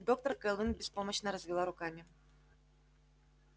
доктор кэлвин беспомощно развела руками